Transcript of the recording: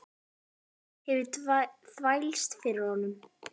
Enskan hafði þvælst fyrir honum.